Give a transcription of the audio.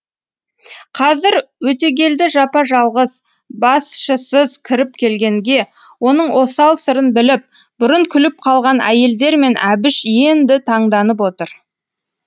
қазір өтегелді жапа жалғыз басшысыз кіріп келгенге оның осал сырын біліп бұрын күліп қалған әйелдер мен әбіш енді таңданып отыр